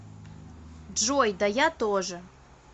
джой да я тоже